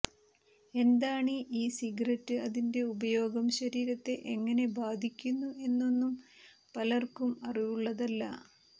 എന്താണീ e cigarette അതിന്റെ ഉപയോഗം ശരീരത്തെ എങ്ങനെ ബാധിക്കുന്നു എന്നൊന്നും പലർക്കും അറിവുള്ളതല്ല